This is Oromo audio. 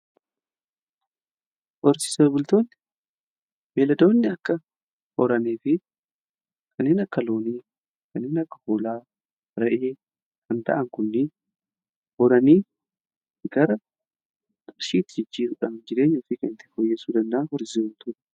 Horsiise bultootni beeladoonni akka horanii fi kanneen akka loonii kanneen akka hoolaa re'ee kan ta'an kunnin horanii gara qarshiitti jijjiiruudhaan jireenya ofii kan ittiin fooyyeeffataniidha.